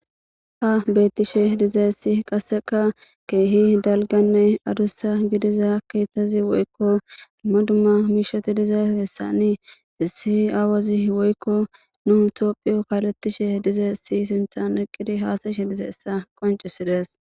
ha beettishe dizesi qasseka keehi dalganne adussa gidiza kitazi woykko dumma dumma miishoti dizeessani issi aawazi woykko nu tophiyo kalettishe dizeesi sinthan iqqidi haasayshe dizeessa qoncisides